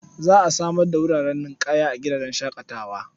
Za a samar da wurin ninƙaya a gidan shaƙatawar.